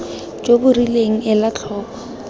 jo bo rileng ela tlhoko